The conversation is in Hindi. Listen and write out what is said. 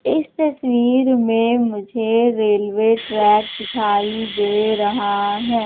इस तस्वीर मे मुझे रेलवे ट्रैक दिखाई दे रहा है।